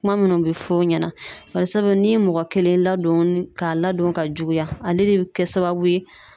Kuma munnu be fɔ o ɲɛna .Barisabu n'i ye mɔgɔ kelen ladon ka ladon ka juguya ale de be kɛ sababu ye